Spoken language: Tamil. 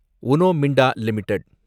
உனோ மிண்டா லிமிடெட்